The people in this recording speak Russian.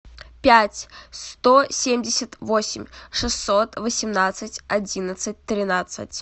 пять сто семьдесят восемь шестьсот восемнадцать одиннадцать тринадцать